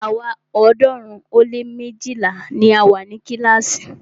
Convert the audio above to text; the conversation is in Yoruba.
Àwa ọ̀ọ́dúnrún ó lé méjìlá ni a wa ni kílàásì.